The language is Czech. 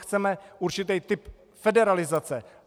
Chceme určitý typ federalizace."